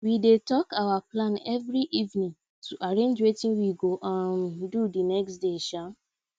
we dey talk our plan every evening to arrange wetin we go um do the next day um